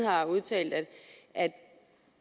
har udtalt at